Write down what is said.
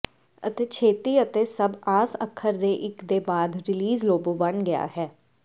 ਅਤੇ ਛੇਤੀ ਅਤੇ ਸਭ ਆਸ ਅੱਖਰ ਦੇ ਇੱਕ ਦੇ ਬਾਅਦ ਰੀਲਿਜ਼ ਲੋਬੋ ਬਣ ਗਿਆ ਹੈ